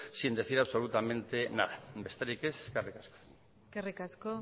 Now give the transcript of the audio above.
sin decir absolutamente nada besterik ez eskerrik asko eskerrik asko